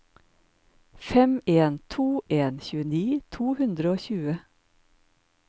fem en to en tjueni to hundre og tjue